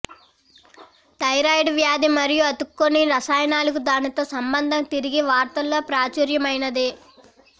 thyroid వ్యాధి మరియు అతుక్కోని రసాయనాలకి దానితో సంబంధం తిరిగి వార్తల్లో ప్రాచుర్యమైనది